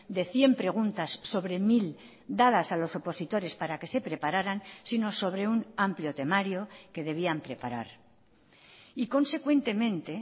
de cien preguntas sobre mil dadas a los opositores para que se prepararan sino sobre un amplio temario que debían preparar y consecuentemente